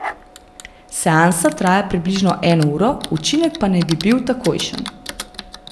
Seansa traja približno eno uro, učinek pa naj bi bil takojšen.